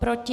Proti?